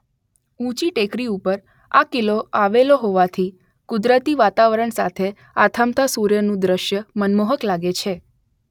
ઊંચી ટેકરી ઉપર આ કિલ્લો આવેલો હોવાથી કુદરતી વાતાવરણ સાથે આથમતા સુર્યનું દ્રશ્ય મનમોહક લાગે છે